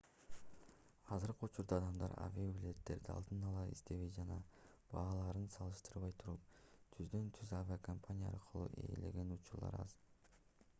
азыркы учурда адамдар авиабилеттерди алдын ала издебей жана бааларын салыштырбай туруп түздөн-түз авиакомпания аркылуу ээлеген учурлар аз